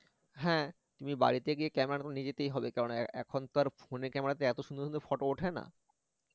হ্যা তুমি বাড়িতে গিয়ে camera নিয়ে যেতে হবে কারন এখন তো আর phone এর camera তে এত সুন্দর সুন্দর photo ওঠে না